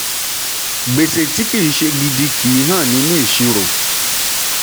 gbèsè tí kì í ṣe gidi kì í hàn nínú ìṣirò.